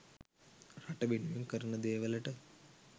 රට වෙනුවෙන් කරන දේවලට